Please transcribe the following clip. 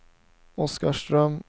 Oskarström